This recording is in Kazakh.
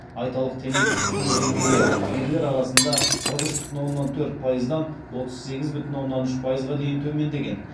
айталық темекі тұтыну деңгейі ерлер арасында қырық үш бүтін оннан төрт пайыздан отыз сегіз бүтін оннан үш пайызға дейін төмендеген